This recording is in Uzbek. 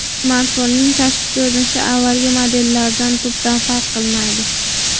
Smartfonning tashqi ko‘rinishi avvalgi modellardan tubdan farq qilmaydi.